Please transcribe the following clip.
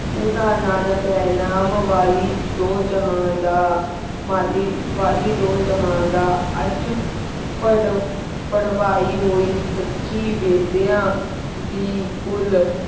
ਉਦਾਹਨ ਨਾਨਿਕ ਆਯ ਨਾਮੇ ਵਾਲੀ ਦੁ ਜੇਹਨ ਦਾ ਮਾਲੀ ਵਾਲੀ ਦੀ ਜੇਹਨ ਦਾ ਅਜੇ ਪੇਰਡ ਪੇਰ੍ਵਾਈ ਹੁਈ ਸਾਚੀ ਵੇਦੇਯਾਂ ਦੀ ਕੁਲ